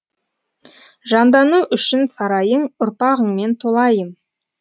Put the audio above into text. жандану үшін сарайың ұрпағыңмен толайым